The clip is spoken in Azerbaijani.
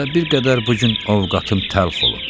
Elə bir qədər bu gün ovqatim təlx olub.